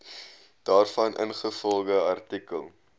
daarvan ingevolge artikel